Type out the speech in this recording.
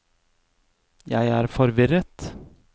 jeg er forvirret